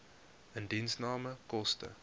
indiensname koste